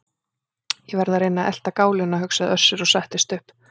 Ég verð að reyna að elta gáluna, hugsaði Össur og settist upp.